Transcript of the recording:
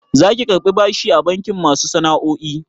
Zaki karɓi bashi a bankin masu sana'o'i?